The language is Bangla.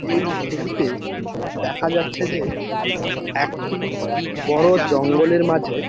এই ছবিতে দেখা যাচ্ছে যে একটি বড় জঙ্গলের মাঝে --